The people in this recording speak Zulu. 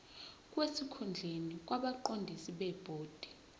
sesikhundleni kwabaqondisi bebhodi